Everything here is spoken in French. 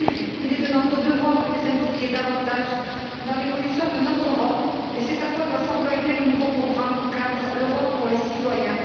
Il est de notre devoir de les impliquer davantage dans l'évolution de notre Europe et c'est à quoi doit s'employer le nouveau programme cadre L'Europe pour les citoyens.